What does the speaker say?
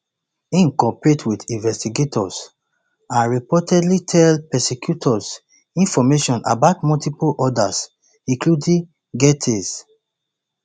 im cooperate wit investigators and reportedly tell prosecutors information about multiple others including gaetz